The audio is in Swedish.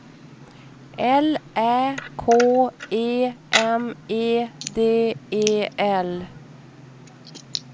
L Ä K E M E D E L